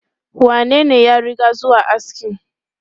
Wanene ya riga zuwa askin?